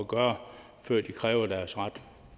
gøre før de kræver deres ret